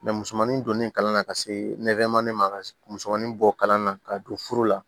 musomanin donni kalan na ka se ma musomanin bɔ kalan na ka don furu la